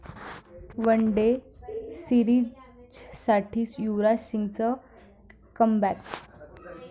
one day सीरिजसाठी युवराज सिंगचं comeback